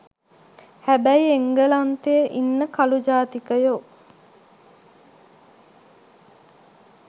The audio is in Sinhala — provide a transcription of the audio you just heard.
හැබැයි එංගලන්තේ ඉන්න කළු ජාතිකයෝ